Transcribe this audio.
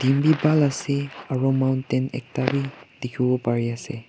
bhal ase aro mountain ekta wii dikhiwo pari ase.